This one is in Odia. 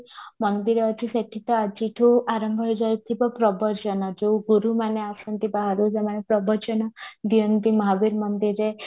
ମନ୍ଦିର ଅଛି ସେଠି ତ ଆଜି ଠୁ ଆରମ୍ଭ ହେଇଯାଉଥିବ ପ୍ରବଚନ ଯୋଉ ଗୁରୁ ମାନେ ଆସନ୍ତି ବାହାରୁ ସେମାନେ ପ୍ରବଚନ ଦିଅନ୍ତି ମହାବୀର ମନ୍ଦିରରେ